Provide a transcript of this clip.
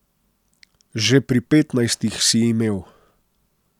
Že pri petnajstih si imel.